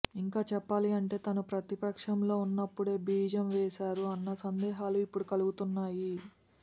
ఇంకా చెప్పాలి అంటే తాను ప్రతిపక్షంలో ఉన్నప్పుడే బీజం వేశారు అన్న సందేహాలు ఇప్పుడు కలుగుతున్నాయి